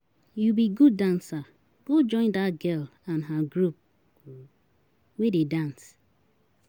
You be good dancer, go join dat girl and her group wey dey dance.